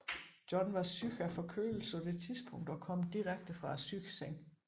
John var syg af forkølelse på det tidspunkt og kom direkte fra sygesengen